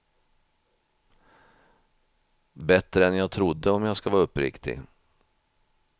Bättre än jag trodde, om jag ska vara uppriktig.